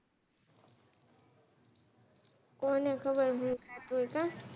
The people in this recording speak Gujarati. કોને ખબર હું થતું હોય કા